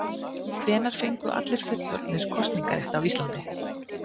Hvenær fengu allir fullorðnir kosningarétt á Íslandi?